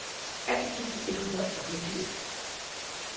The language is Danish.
atten tusind et hundrede og fireogtyve